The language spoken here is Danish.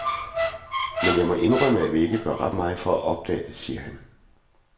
Men jeg må indrømme, at vi gør ikke ret meget for at opdage det, siger han.